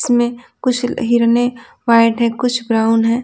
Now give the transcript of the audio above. इसमें कुछ हिरने वाइट है कुछ ब्राउन है।